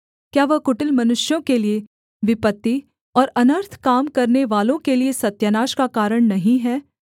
क्या वह कुटिल मनुष्यों के लिये विपत्ति और अनर्थ काम करनेवालों के लिये सत्यानाश का कारण नहीं है